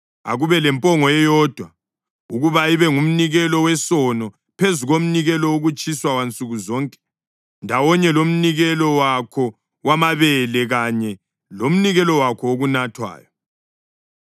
Akube lempongo eyodwa ukuba ibe ngumnikelo wesono, phezu komnikelo wokutshiswa wansuku zonke ndawonye lomnikelo wakho wamabele kanye lomnikelo wakho wokunathwayo.